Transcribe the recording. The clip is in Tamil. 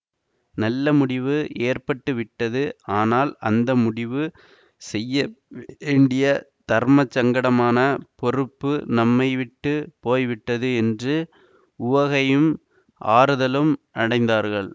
நல்ல முடிவு ஏற்பட்டு விட்டது ஆனால் அந்த முடிவு செய்ய வேண்டிய தர்மசங்கடமான பொறுப்பு நம்மைவிட்டுப் போய் விட்டது என்று உவகையும் ஆறுதலும் அடைந்தார்கள்